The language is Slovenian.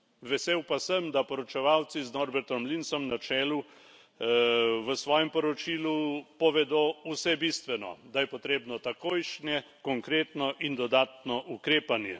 Vesel pa sem, da poročevalci z Norbertom Linsom na čelu v svojem poročilu povedo vse bistveno da je potrebno takojšnje, konkretno in dodatno ukrepanje.